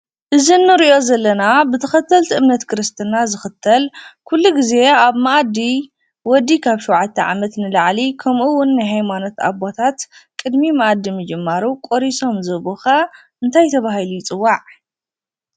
እዚ እንሪኦ ዘለና ብተኸተልቲ እምነት ክርስትና ዝኽተል ኩሉ ጊዜ ኣብ ማኣዲ ወዲ ካብ 7+ ዓመት ንላዕሊ ከምኡ ውን ናይ ሃይማኖት ኣቦታት ቅድሚ ማኣዲ ምጅማሩ ቆሪሶም ዝህቡኻ እንታይ ተባሂሉ ይፅዋዕ?